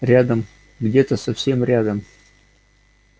рядом где-то совсем рядом